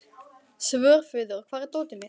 Svörfuður, hvar er dótið mitt?